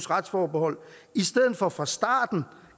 retsforbeholdet i stedet for fra starten